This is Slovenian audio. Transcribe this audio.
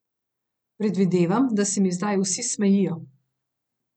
Predvidevam, da se mi zdaj vsi smejijo.